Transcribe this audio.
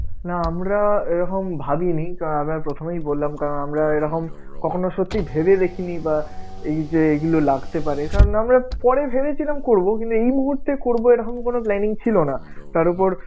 না আমরা এরকম ভাবিনি কারণ আমি প্রথমেই বললাম কারণ আমরা এরকম কখনো সত্যি ভেবে দেখিনি বা এই যে এইগুলো লাগতে পারে কারণ আমরা পরে ভেবেছিলাম করবো কিন্তু এই মুহূর্তে করবো এইরকম কোন planning ছিলো না. তার উপর